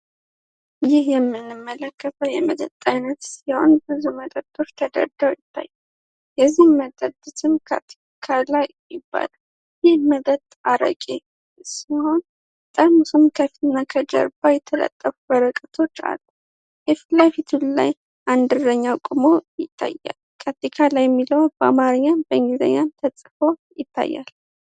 ይህ የምንመለከተው የመጠጥ አይነት ሲሆን፤ ብዙ መጠጦች ተደርድረው ይታያል። የዚያን መጠጥ ስም ካቲካላ ይባላል። ይህ መጠጥ አረቄ ሲሆን፤ ጠርሙሱም ከፊት እና ጀርባ የተለጠፉ ወረቀቶች አሉ። ፊትለፊቱ ላይ አንድ እረኛ ቆሞ ይታያል። ካቲካላ የሚለው በአማርኛም በእንግሊዘኛም ተጽፎ ይታያል።